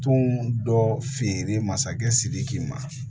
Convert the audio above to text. Tun dɔ feereli masakɛ sidiki ma